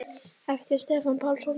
eftir Stefán Pálsson